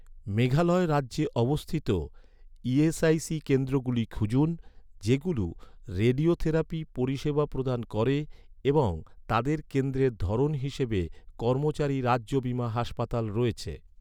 মেঘালয় রাজ্যে অবস্থিত, ই.এস.আই.সি কেন্দ্রগুলো খুঁজুন, যেগুলো রেডিওথেরাপি পরিষেবা প্রদান করে এবং তাদের কেন্দ্রের ধরন হিসাবে কর্মচারী রাজ্য বীমা হাসপাতাল রয়েছে৷